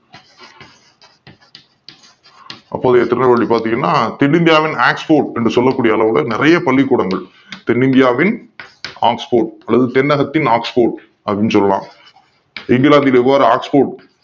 அப்போதைய திருநெல்வேலி பாத்தீங்கன்னா தென்னிந்தியாவின் Oxford என்று சொல்லக் கூடிய அளவுல நிறைய பள்ளிக் கூடங்கள் தென்னிந்தியாவின் Oxford அதாவது தென்னகத்தின் Oxford அப்படின்னு சொல்றாங்க இங்கிலாந்துக்கு எவ்வாறு Oxford